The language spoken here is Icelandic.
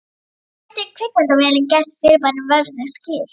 Kannski gæti kvikmyndavélin gert fyrirbærinu verðug skil.